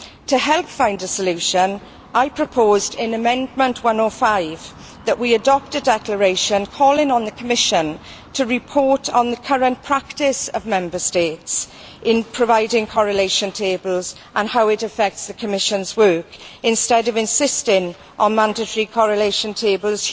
To help find a solution, I proposed in Amendment 105 that we adopt a declaration calling on the Commission to report on the current practice of Member States in providing correlation tables and how it affects the Commission's work instead of insisting on mandatory correlation tables.